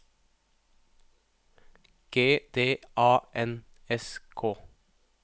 G D A N S K